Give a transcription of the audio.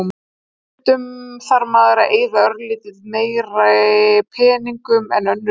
Stundum þarf maður að eyða örlítið meiri peningum en önnur lið.